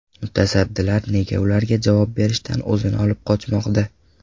Mutasaddilar nega ularga javob berishdan o‘zini olib qochmoqda?.